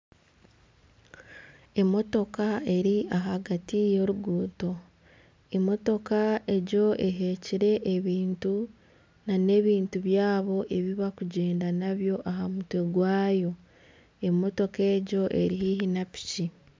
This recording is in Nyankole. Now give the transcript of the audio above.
Emotoka eri ahagati y'oruguuto, emotoka egyo ehikire ebintu nana ebintu byabo ebi barikugyenda nabyo aha mutwe gwayo emotoka egyo eri haihi na piki